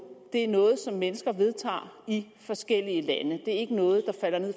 det er noget som mennesker vedtager i forskellige lande det er ikke noget